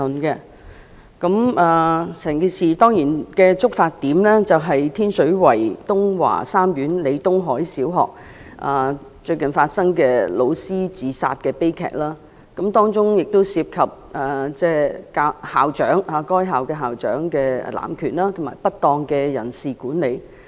當然，整件事的觸發點是最近發生的天水圍東華三院李東海小學教師自殺的悲劇，當中涉及該校校長濫權及不當的人事管理。